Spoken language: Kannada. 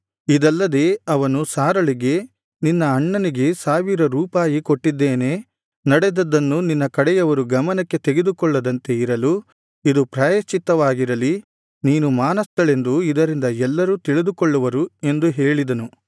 ಇದಲ್ಲದೆ ಅವನು ಸಾರಳಿಗೆ ನಿನ್ನ ಅಣ್ಣನಿಗೆ ಸಾವಿರ ರೂಪಾಯಿ ಕೊಟ್ಟಿದ್ದೇನೆ ನಡೆದದ್ದನ್ನು ನಿನ್ನ ಕಡೆಯವರು ಗಮನಕ್ಕೆ ತೆಗೆದುಕೊಳ್ಳದಂತೆ ಇರಲು ಇದು ಪ್ರಾಯಶ್ಚಿವಾಗಿರಲಿ ನೀನು ಮಾನಸ್ಥಳೆಂದು ಇದರಿಂದ ಎಲ್ಲರೂ ತಿಳಿದುಕೊಳ್ಳುವರು ಎಂದು ಹೇಳಿದನು